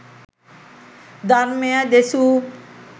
ධර්මය දෙසූ